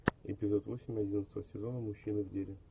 эпизод восемь одиннадцатого сезона мужчины в деле